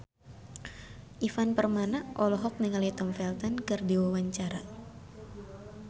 Ivan Permana olohok ningali Tom Felton keur diwawancara